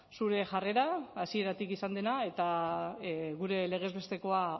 zure jarrera hasieratik izan dena eta gure legez bestekoa